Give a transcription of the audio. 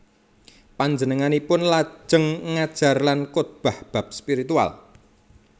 Panjenenganipun lajeng ngajar lan khotbah bab spiritual